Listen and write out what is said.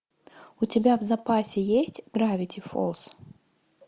у тебя в запасе есть гравити фолз